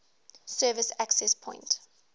service access point